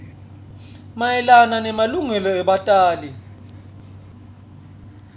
mayelana nemalungelo ebatjali